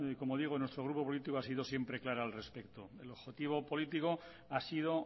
como digo en nuestro grupo político ha sido siempre clara al respecto el objetivo político ha sido